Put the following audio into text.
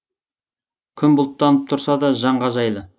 күн бұлттанып тұрса да жанға жайлы